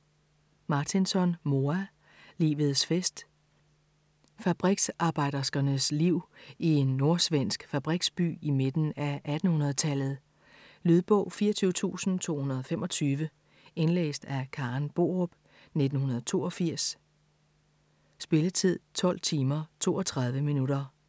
Martinson, Moa: Livets fest Fabriksarbejderskernes liv i en nordsvensk fabriksby i midten af 1800-tallet. Lydbog 24225 Indlæst af Karen Borup, 1982. Spilletid: 12 timer, 32 minutter.